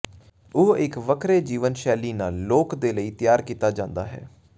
ਉਹ ਇੱਕ ਵੱਖਰੇ ਜੀਵਨ ਸ਼ੈਲੀ ਨਾਲ ਲੋਕ ਦੇ ਲਈ ਤਿਆਰ ਕੀਤਾ ਜਾਦਾ ਹੈ